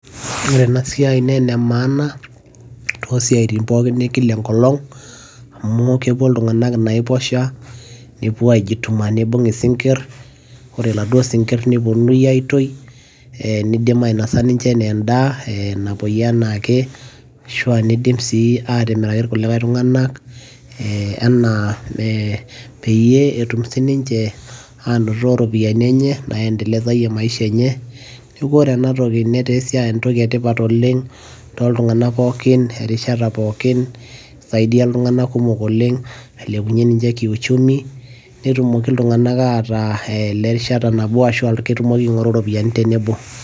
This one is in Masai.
ore ena siai naa ene maaana too siatin pookin ekila enkolong'.amu kepuo iltunganak enaiposha, nepuo aijituma, nibung' isinkir, ore iladuoo sinkir, nepuonunui aitoi, nidim ainosa ninche anaa edaa, napuoiyie anaake, ashu aanidim sii atimiraki irkulikae tunganak anaa mee peyie etum sii ninche aanoto iropiyiani, enye naendelezayie maisha enye. neeku ore ena toki netaa esiai, entoki etipat oleng tooltung'anak pookin, erishata pokin, eisaidia iltunganak kumok oleng, ailepunye ninche kiuchumi. nitumoki iltunganak aing'oru iropiyiani tenebo.